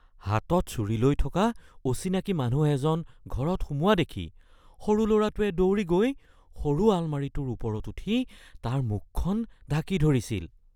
হাতত ছুৰী লৈ থকা অচিনাকি মানুহ এজন ঘৰত সোমোৱা দেখি সৰু লৰাটোৱে দৌৰি গৈ সৰু আলমাৰিটোৰ ওপৰত উঠি তাৰ মুখখন ঢাকি ধৰিছিল